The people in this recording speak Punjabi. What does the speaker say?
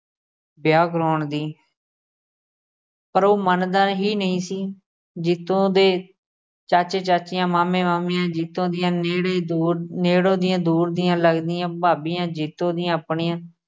ਵਿਆਹ ਕਰਾਉਣ ਦੀ ਪਰ ਉਹ ਮੰਨਦਾ ਹੀ ਨਹੀਂ ਸੀ। ਜੀਤੋ ਦੇ ਚਾਚੇ ਚਾਚੀਆਂ, ਮਾਮੇ ਮਾਮੀਆਂ ਜੀਤੋ ਦੀਆਂ ਨੇੜੇ ਦੂਰ ਨੇੜੋਂ ਦੀਆਂ ਦੂਰ ਦੀਆਂ ਲੱਗਦੀਆਂ ਭਾਬੀਆਂ ਜੀਤੋ ਦੀਆਂ ਆਪਣੀਆਂ